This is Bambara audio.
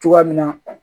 Cogoya min na